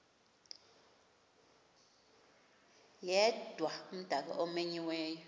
yedwa umdaka omenyiweyo